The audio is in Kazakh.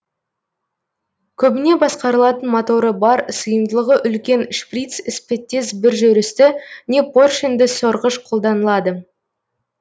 көбіне басқарылатын моторы бар сыйымдылығы үлкен шприц іспеттес бір жүрісті не поршенді сорғыш қолданылады